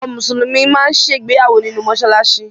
Àwọn Mùsùlùmí máa ń ṣe ìgbéyàwó nínú mọ́ṣáláṣí